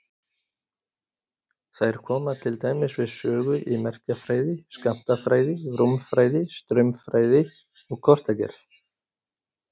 Þær koma til dæmis við sögu í merkjafræði, skammtafræði, rúmfræði, straumfræði og kortagerð.